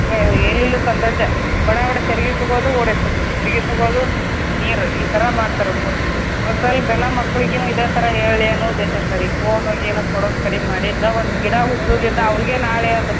ಎಲ್ಲಿಲ್ಲದ ಸಂತೋಷ ಬಡಾಬಡಾ ಚರಗಿ ತುಗೋದು ಓಡಿ ಹೋಗಿ ಸುರುವೋದು ಚರಗಿ ತುಗೋದು ಸುರುವೋದು ನೀರ್ ಈ ತರ ಮಾಡ್ತಾರ ಹುಡುಗ್ರು. ಒಂದ್ ಸ್ವಲ್ಪ ಎಲ್ಲ ಮಕ್ಳಿಗುನು ಇದೆ ತರ ಹೇಳ್ಳಿ ಅನ್ನೋ ಉದ್ದೇಶ ಅಷ್ಟರಿ phone ಗೀನು ಕೊಡೊದ್ ಕಡಿಮಿ ಮಾಡಿ ನಾವ ಒಂದ್ ಗಿಡ ಹುಟ್ಸುಗಿಂತ ಅವ್ರಗೆ ನಾಳೆ ಅದ.